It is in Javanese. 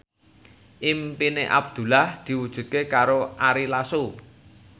impine Abdullah diwujudke karo Ari Lasso